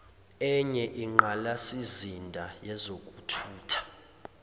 enye inqalasizinda yezokuthutha